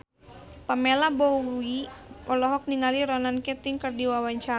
Pamela Bowie olohok ningali Ronan Keating keur diwawancara